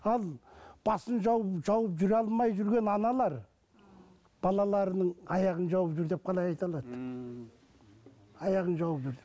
ал басын жауып жауып жүре алмай жүрген аналар балаларының аяғын жауып жүр деп қалай айта алады ммм аяғын жауып жүр деп